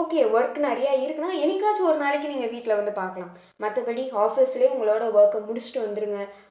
okay work நிறைய இருக்குன்னா என்னைக்காச்சும் ஒரு நாளைக்கு நீங்க வீட்டுல வந்து பார்க்கலாம் மத்தபடி office லயே உங்களோட work அ முடிச்சிட்டு வந்துருங்க